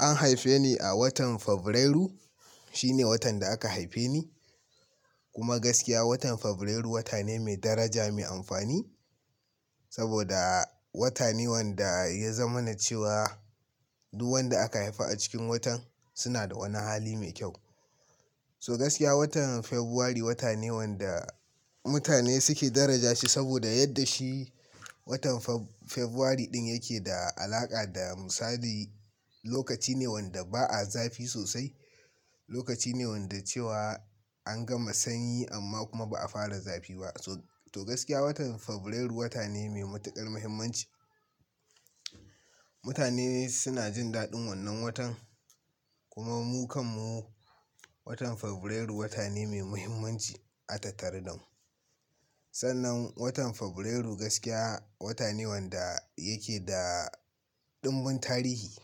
An haife ni a watan Fabrairu. Shine watan da aka haife ni. Kuma gaskiya watan Fabrairu wata ne mai daraja, mai amfani. Saboda wata ne wanda ya zamanacewa duk wanda aka haifa a cikin watan suna da wani hali mai kyau. To gaskiya watan Fabrairu wata ne wanda mutane suke daraja shi saboda yadda shi watan Fabrairu ɗin yake da alaƙa da misali, lokaci ne wanda ba a zafi sosai. Lokaci ne wanda cewa an gama sanyi amma kuma ba a fara zafi ba. To gaskiya watan Fabrairu wata ne mai matuƙar muhimmanci. Mutane suna jin daɗin wannan watan. Kuma mu kan mu, watan Fabrairu wata ne mai muhimmanci a tattare da mu. Sannan watan Febrairu gaskiya wata ne wanda yake da ɗumbun tarihi.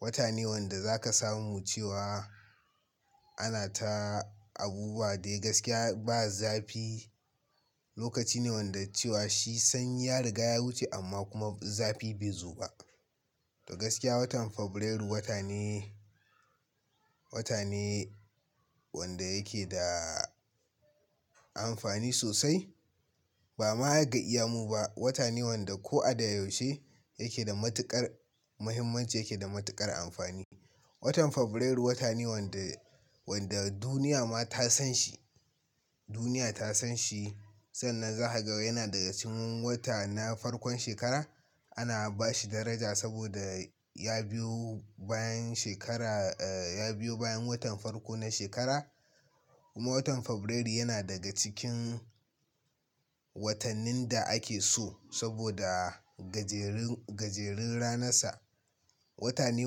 Wata ne wanda zaka samu cewa ana ta abubuwa dai gaskiya ba zafi. Lokaci ne wanda cewa shi sanyi ya riga ya wuce amma kuma zafi bai zo ba. To gaskiya watan Fabrairu wata ne, wata ne wanda yake da amfani sosai. Ba ma ga iya mu ba. Wata ne wanda ko a da yaushe yake da matuƙar muhimmanci, yake da matuƙar amfani. Watan Fabrairu wata ne wanda, wanda duniya ma ta san shi. Duniya ta san shi. Sannan za ka ga yana daga cikin wata na farkon shekara. Ana ba shi daraja saboda ya biyo bayan shekara, eh, ya biyo bayan watan farko na shekara. Kuma watan Fabrairu yana daga cikin watannin da ake so saboda gajerun, gajerun ranarsa. Wata ne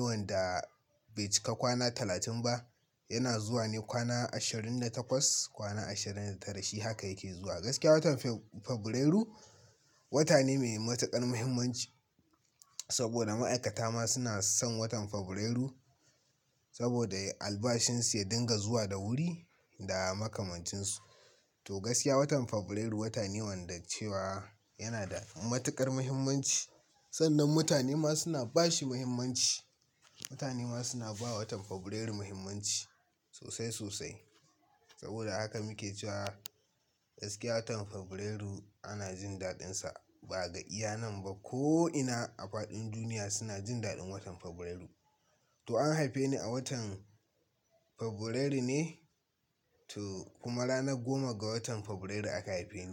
wanda bai cika kwana talatin ba. Yana zuwa ne kwana ashirin da takwas, kwana ashirin da tara. Shi haka yake zuwa. Gaskiya watan Fabrairu wata ne mai matuƙar muhimmanci saboda ma'aikata ma suna son watan Fabrairu saboda albashinsu ya dinga zuwa da wuri da makamancinsu. To gaskiya watan Fabrairu wata ne wanda cewa yana da matuƙar muhimmanci. Sannan mutane ma suna ba shi muhimmanci. Mutane ma suna ba wa watan Fabrairu muhimmanci sosai sosai. Saboda haka muke cewa gaskiya watan Fabrairu ana jin daɗinsa ba ga iyanan ba. Ko ina a faɗin duniya suna jin daɗin watan Fabrairu. To an haife ni a watan Fabrairu ne. To kuma ranar goma ga watan Fabrairu aka haife ni.